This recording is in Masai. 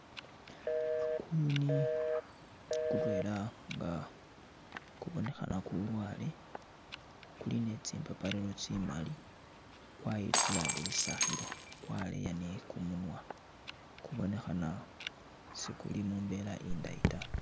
Kuyuni kutwela nga kubonekhana kulwale kuli ne tsimbapariro tsi'mali kwayitsula lisakhilo kwaleya ni kumunwa kubonekhana sikuli mumbela indayi ta